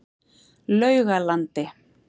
Laugalandi